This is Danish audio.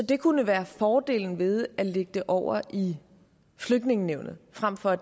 det kunne være fordelen ved at lægge det over i flygtningenævnet frem for